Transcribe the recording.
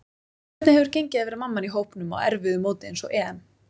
Hvernig hefur gengið að vera mamman í hópnum á erfiðu móti eins og EM?